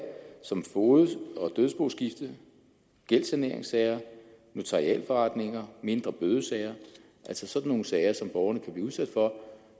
som fogedsager og dødsboskiftesager gældssaneringssager notarialforretninger og mindre bødesager altså sådan nogle sager som borgerne kan blive udsat for